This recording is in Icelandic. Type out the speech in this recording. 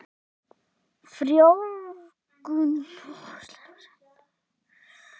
Frjóvgunin á sér venjulegast stað í annarri hvorri legpípunni.